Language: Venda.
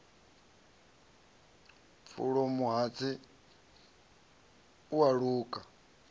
pfulo mahatsi a u luka